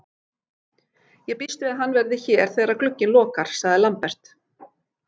Ég býst við að hann verði hér þegar að glugginn lokar, sagði Lambert.